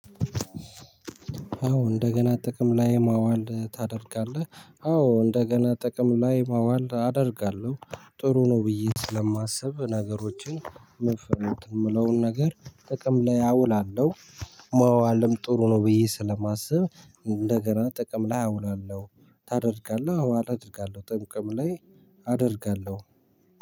አዎ እንደገና ጥቅም ላይ ማዋል ታደርጋለህ? አዎ እንደገና ጥቅም ላይ ማዋል አደርጋለሁ። ጥሩ ነው ብዬ ስለማስብ ነገሮችን መፈነት የምለውን ነገር ጥቅም ላይ አውላለሁ። መዋልም ጥሩ ነው ብዬ ስለማስብ እንደገና ጥቅም ላይ አውላለሁ። ታደርጋለህ? አዎ አደርጋለሁ ጥቅም ላይ አደርጋለሁ